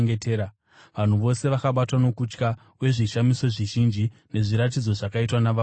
Vanhu vose vakabatwa nokutya, uye zvishamiso zvizhinji nezviratidzo zvakaitwa navapostori.